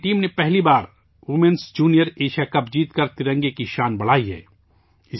بھارت کی ٹیم نے پہلی بار ویمنز جونیئر ایشیا کپ جیت کر ترنگے کی شان بڑھائی ہے